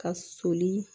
Ka soli